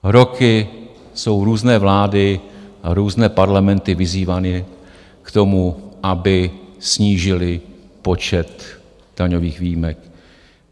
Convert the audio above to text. Roky jsou různé vlády a různé Parlamenty vyzývány k tomu, aby snížily počet daňových výjimek.